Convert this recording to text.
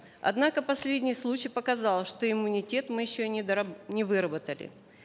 однако последний случай показал что иммунитет мы еще не не выработали